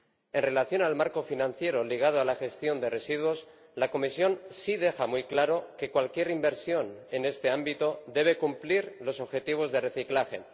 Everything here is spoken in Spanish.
En relación con el marco financiero ligado a la gestión de residuos, la Comisión sí deja muy claro que cualquier inversión en este ámbito debe cumplir los objetivos de reciclaje.